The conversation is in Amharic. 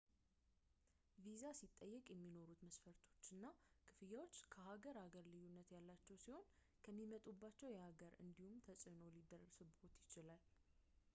ቪዛ ሲጠየቅ የሚኖሩት መስፈርቶች እና ክፍያዎች ከሀገር ሀገር ልዩነት ያላቸው ሲሆን ከሚመጡበትም የሀገር እንዲሁ ተፅዕኖ ሊደርስብዎት ይችላል